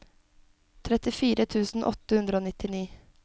trettifire tusen åtte hundre og nitti